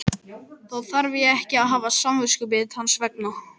Þá þarf ég ekki að hafa samviskubit hans vegna?